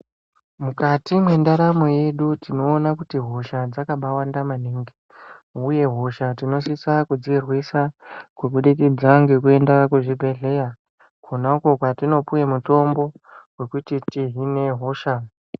Mukati mendaramo yedu tinowona kuti hosha dzakabawanda maningi. Uye hosha tinosisa kurwisa kubudikidza ngekuyenda kuzvibhedhleya, khona koko kwatinopiwa mitombo wekuti tihhine hosha.